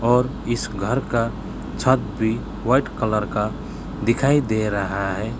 और इस घर का छत भी व्हाइट कलर का दिखाई दे रहा है।